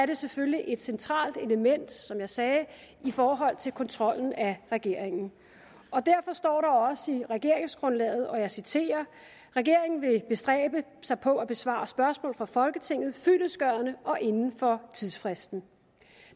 det selvfølgelig et centralt element som jeg sagde i forhold til kontrollen af regeringen derfor står der også i regeringsgrundlaget og jeg citerer regeringen vil bestræbe sig på at besvare spørgsmål fra folketinget fyldestgørende og inden for tidsfristen